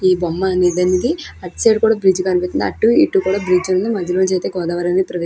ఈ బొమ్మ అనేది అటు సైడ్ కోడా బ్రిడ్జి కనిపిస్తుంది. అటు ఇటు బ్రిడ్జి ఉంది. మధ్యలో నుంచీతే గోదావరి. ఇద్దరు వెక్తులు --